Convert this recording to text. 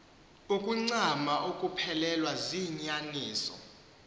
ukuncama ukuphelelwa ziinyaniso